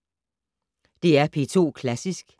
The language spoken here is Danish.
DR P2 Klassisk